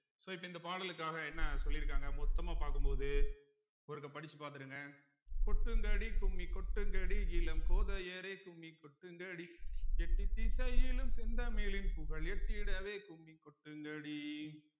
so இப்ப இந்த பாடலுக்காக என்ன சொல்லி இருக்காங்க மொத்தமா பார்க்கும் போது ஒருக்கா படிச்சு பாத்துருங்க கொட்டுங்கடி கும்மி கொட்டுங்கடி இளம் கோதையரே கும்மி கொட்டுங்கடி எட்டு திசையிலும் செந்தமிழின் புகழ் எட்டிடவே கும்மி கொட்டுங்கடி